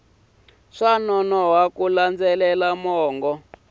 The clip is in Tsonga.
swa nonoha ku landzelela mongo